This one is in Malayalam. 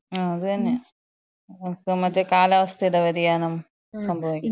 ആ അതന്നെ. ഇപ്പൊ മറ്റേ കാലാവസ്ഥയുടെ വ്യതിയാനം സംഭവിക്ക്യാണ്.